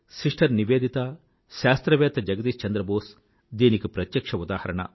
sister Nivedita శాస్త్రవేత్త జగదిశ్ చంద్ర బోస్ దీనికి ప్రత్యక్ష్య ఉదాహరణ